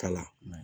Kalan